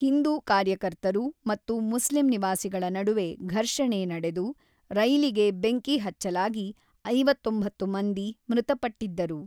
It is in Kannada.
ಹಿಂದೂ ಕಾರ್ಯಕರ್ತರು ಮತ್ತು ಮುಸ್ಲಿಂ ನಿವಾಸಿಗಳ ನಡುವೆ ಘರ್ಷಣೆ ನಡೆದು, ರೈಲಿಗೆ ಬೆಂಕಿ ಹಚ್ಚಲಾಗಿ ಐವತ್ತೊಂಬತ್ತು ಮಂದಿ ಮೃತಪಟ್ಟಿದ್ದರು.